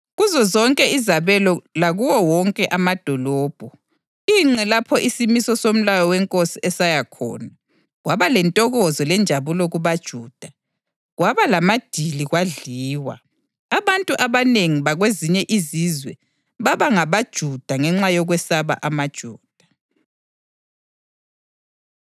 Kuzozonke izabelo lakuwo wonke amadolobho, ingqe lapho isimiso somlayo wenkosi esaya khona, kwaba lentokozo lenjabulo kubaJuda, kwaba lamadili kwadliwa. Abantu abanengi bakwezinye izizwe baba ngabaJuda ngenxa yokwesaba amaJuda.